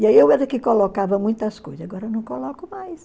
E aí eu era que colocava muitas coisas, agora eu não coloco mais.